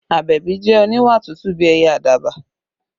Abebi jẹ́ oníwà tútù bí ẹyẹ àdàbà